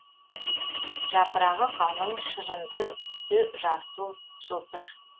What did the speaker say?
жапырағы калың шырынды түсі жасыл жылтыр